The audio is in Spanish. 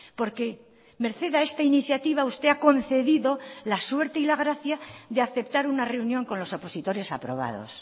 porque merced a esta iniciativa usted ha concedido la suerte y la gracia de aceptar una reunión con los opositores aprobados